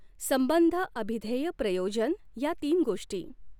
संबंधअभिध्येय प्रयोजन ह्या तीन गोष्टी.